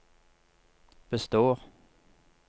består